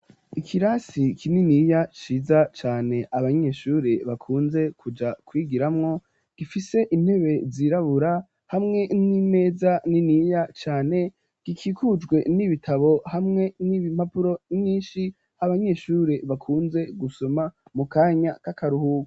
Ikirasi kininiya ciza cane abanyeshure bakunze kuja kwigiramwo gifise intebe zirabura hamwe n'imeza niniya cane gikikujwe n'ibitabo hamwe n'ibimpapuro nyinshi h'abanyeshure bakunze gusoma mu kanya k'akaruhuba.